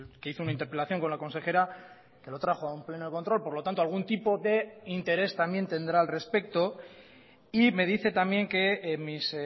que hizo una interpelación con la consejera que lo trajo a un pleno de control por lo tanto algún tipo de interés también tendrá al respecto y me dice también que mis